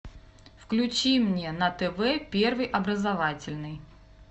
включи мне на тв первый образовательный